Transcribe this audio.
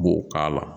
B'o k'a la